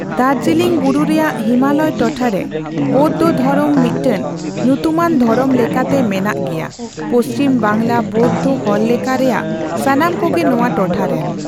ᱫᱟᱨᱡᱤᱞᱤᱝ ᱵᱩᱨᱩ ᱨᱮᱭᱟᱜ ᱦᱤᱢᱟᱞᱚᱭ ᱴᱚᱴᱷᱟ ᱨᱮ ᱵᱳᱫᱽᱫᱷᱚᱫᱷᱚᱨᱚᱢ ᱢᱤᱫᱴᱟᱝ ᱧᱩᱛᱩᱢᱟᱢ ᱫᱷᱚᱨᱚᱢ ᱞᱮᱠᱟᱛᱮ ᱢᱮᱱᱟᱜ ᱜᱮᱭᱟ, ᱯᱚᱪᱷᱤᱢ ᱵᱟᱝᱞᱟ ᱵᱳᱫᱽᱫᱷᱚ ᱦᱚᱲᱞᱮᱠᱷᱟ ᱨᱮᱭᱟᱜ ᱥᱟᱱᱟᱢ ᱠᱚᱜᱮ ᱱᱚᱣᱟ ᱴᱚᱴᱷᱟ ᱨᱮᱱ ᱾